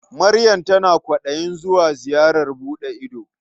Maryam tana kwaɗayin zuwa ziyarar buɗe ido.